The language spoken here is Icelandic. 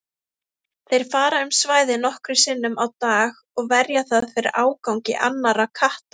Þeir fara um svæðið nokkrum sinnum á dag og verja það fyrir ágangi annarra katta.